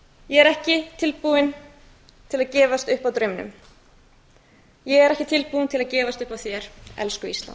ég er ekki tilbúin að gefast upp á draumnum ég er ekki tilbúin að gefast upp á þér elsku ísland